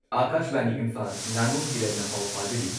ꯑꯥꯀꯥꯁꯕꯥꯅꯤ ꯏꯝꯐꯥꯜ ꯉꯥꯉꯣꯝ ꯀꯤꯔꯟꯅ ꯄꯥꯎ ꯄꯥꯖꯔꯤ